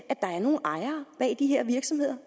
at der er nogle ejere bag de her virksomheder